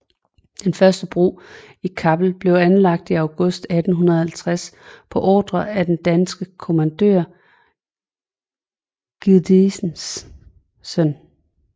Den første bro i Kappel blev anlagt i august 1850 på ordre af den danske kommandør Giødesen